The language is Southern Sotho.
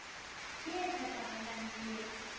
ke e tshepahalang le e